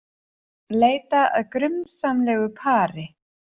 Leita að grunsamlegu pari